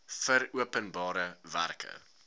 vir openbare werke